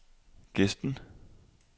Gesten